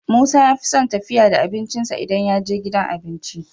Musa yafison tafiya da abincin sa idan yaje gidan abinci